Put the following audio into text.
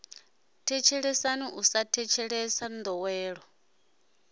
thetshelesa u sa thetshelesa ndowelo